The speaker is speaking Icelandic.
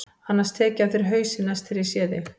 Annars tek ég af þér hausinn næst þegar ég sé þig.